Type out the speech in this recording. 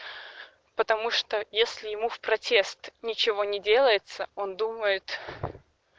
потому что если ему в протест ничего не делается он думает